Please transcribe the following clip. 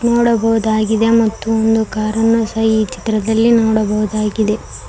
ನೋಡಬಹುದಾಗಿದೆ ಮತ್ತು ಒಂದು ಕಾರನ್ನು ಸ ಈ ಚಿತ್ರದಲ್ಲಿ ನೋಡಬೋದಾಗಿದೆ.